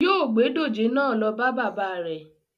Yóo gbé dòjé náà lọ bá baba rẹ̀